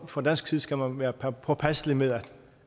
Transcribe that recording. fra dansk side skal man være påpasselig med